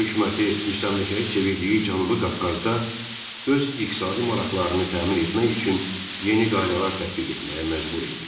Rusiya hökuməti müstəmləkəyə çevirdiyi Cənubi Qafqazda öz iqtisadi maraqlarını təmin etmək üçün yeni qaydalar tətbiq etməyə məcbur idi.